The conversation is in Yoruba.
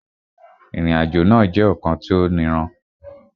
Ìrìnàjò náà jẹ́ ọ̀kan tó niran